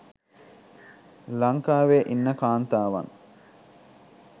ලංකාවේ ඉන්න කාන්තාවන්